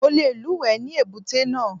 Mo le lúùwẹ́ ní èbúté náà.